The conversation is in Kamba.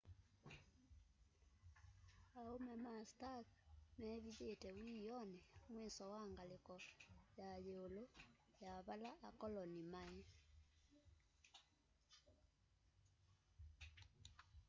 aume ma stark meevithite wiioni mwiso wa ngaliko ya yiulu ya vala akoloni mai